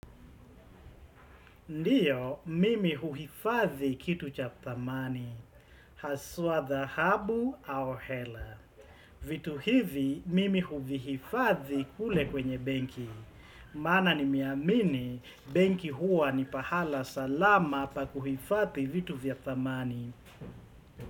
Ndio, mimi huhifadhi kitu cha dhamani. Haswa dhahabu au hela. Vitu hivi, mimi huvihifadhi kule kwenye benki. Maana nimeamini, benki huwa ni pahala salama pa kuhifadhi vitu vya dhamani.